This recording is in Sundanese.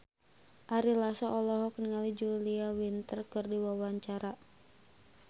Ari Lasso olohok ningali Julia Winter keur diwawancara